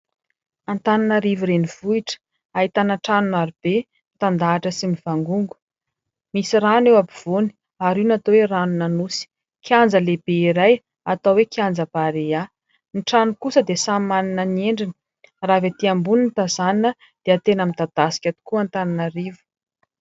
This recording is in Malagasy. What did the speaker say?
Antananarivo renivohitra, ahitana trano marobe mitandahatra sy mivangongo, misy rano eo ampovoany ary io no atao hoe"ranon'Anosy", kianja lehibe iray atao hoe"kianja Barea". Ny trano kosa dia samy manana ny endriny. Raha avy etỳ ambony no tazanina dia tena midadasika tokoa Antananarivo.